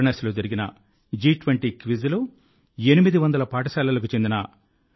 వారణాసిలో జరిగిన జి20 క్విజ్లో 800 పాఠశాలలకు చెందిన 1